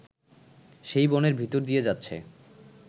সেই বনের ভিতর দিয়ে যাচ্ছে